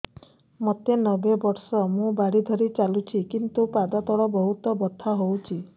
ମୋତେ ନବେ ବର୍ଷ ମୁ ବାଡ଼ି ଧରି ଚାଲୁଚି କିନ୍ତୁ ପାଦ ତଳ ବହୁତ ବଥା ହଉଛି